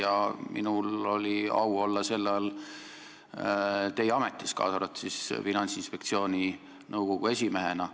Ja minul oli au olla sellel ajal teie ametis, kaasa arvatud siis Finantsinspektsiooni nõukogu esimehe ametis.